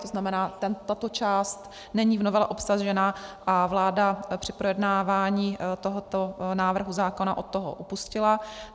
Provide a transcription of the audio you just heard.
To znamená, tato část není v novele obsažena a vláda při projednávání tohoto návrhu zákona od toho upustila.